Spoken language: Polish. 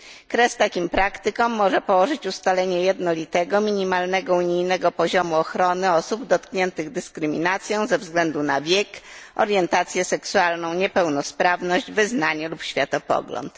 Kres takim praktykom może położyć ustalenie jednolitego minimalnego unijnego poziomu ochrony osób dotkniętych dyskryminacją ze względu na wiek, orientację seksualną, niepełnosprawność, wyznanie lub światopogląd.